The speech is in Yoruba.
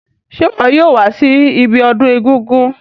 Se wo yóò wa si ibiodún egúngún